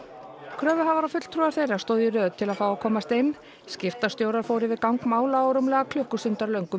kröfuhafar og fulltrúar þeirra stóðu í röð til að fá að komast inn skiptastjórar fóru yfir gang mála á rúmlega